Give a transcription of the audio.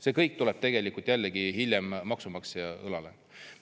See kõik tuleb tegelikult jällegi hiljem maksumaksja õlale.